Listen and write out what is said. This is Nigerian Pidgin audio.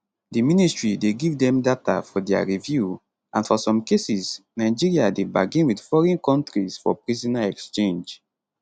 di ministry dey give dem data for dia review and for some cases nigeria dey bargain wit foreign kontris for prisoner exchange